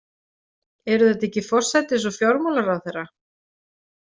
Eru þetta ekki forsætis- og fjármálaráðherra?